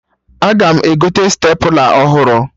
Aga m egote stepla ọhụrụ